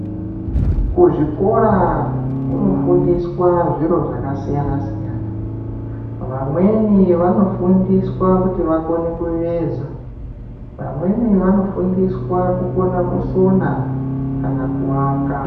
Kuzvikora, kunofundiswa zviro zvaka siyana siyana. Vamweni vanofundiswa kuti vakone kuveza, vamweni vanofundiswa kukona kusona kana kuwaka.